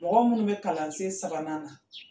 Mɔgɔ minnu bɛ kalansen sabanan na.